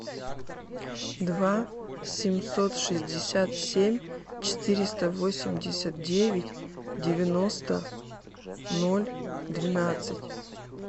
два семьсот шестьдесят семь четыреста восемьдесят девять девяносто ноль двенадцать